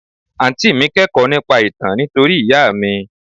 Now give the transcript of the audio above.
Àǹtí mi kẹ́kọ̀ọ́ nípa ìtàn nítorí ìyá mi.